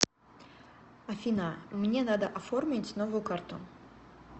афина мне надо оформить новую карту